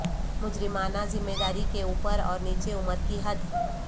مجرمانہ ذمہ داری کے اوپر اور نیچے عمر کی حد